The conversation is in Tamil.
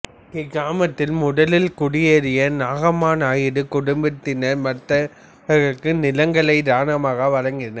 இக்கிராமத்தில் முதலில் குடியேறிய நாகம்மா நாயுடு குடும்பத்தினா்மற்றவர்களுக்கு நிலங்களை தானமாக வழங்கினர்